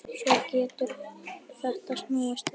Svo getur þetta snúist við.